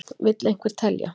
Vill einhver telja?